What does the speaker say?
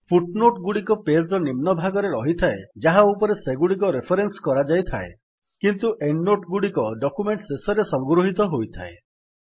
foot note ଗୁଡିକ page ର ନିମ୍ନ ଭାଗରେ ରହିଥାଏ ଯାହା ଉପରେ ସେଗୁଡ଼ିକ ରେଫରେନ୍ସ କରାଯାଇଥାଏ କିନ୍ତୁ ଏଣ୍ଡ୍ ନୋଟ୍ ଗୁଡିକ ଡକ୍ୟୁମେଣ୍ଟ୍ ଶେଷରେ ସଂଗୃହିତ ହୋଇଥାଏ